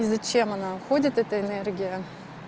и зачем она уходит эта энергия